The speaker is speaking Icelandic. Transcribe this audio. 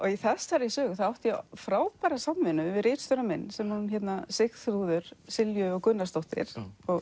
í þessari sögu átti ég frábæra samvinnu við ritstjórann minn sem er Sigþrúður Silju og Gunnarsdóttir